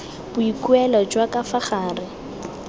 boikuelo jwa ka fa gare